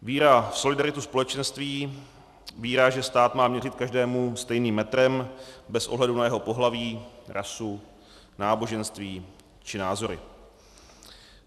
Víra v solidaritu společenství, víra, že stát má měřit každému stejným metrem bez ohledu na jeho pohlaví, rasu, náboženství či názory.